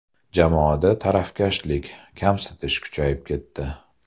Jamoada tarafkashlik, kamsitish kuchayib ketdi.